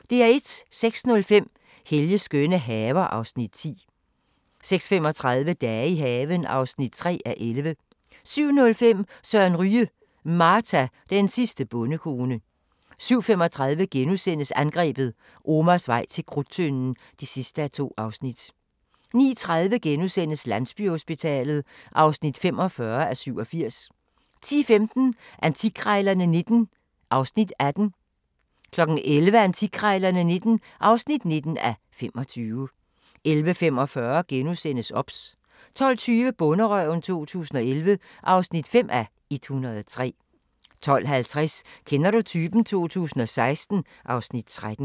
06:05: Helges skønne haver (Afs. 10) 06:35: Dage i haven (3:11) 07:05: Søren Ryge: Marta, den sidste bondekone 07:35: Angrebet – Omars vej til Krudttønden (2:2)* 09:30: Landsbyhospitalet (45:87)* 10:15: Antikkrejlerne XIX (18:25) 11:00: Antikkrejlerne XIX (19:25) 11:45: OBS * 12:20: Bonderøven 2011 (5:103) 12:50: Kender du typen? 2016 (Afs. 13)